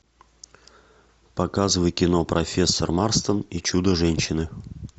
показывай кино профессор марстон и чудо женщины